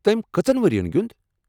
تمۍ کٔژن ؤرین گیوٚنٛد؟